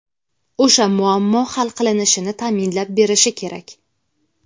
o‘sha muammo hal qilinishini ta’minlab berishi kerak!.